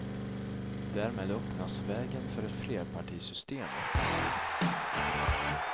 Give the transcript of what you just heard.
Därmed öppnas vägen för ett flerpartisystem. punkt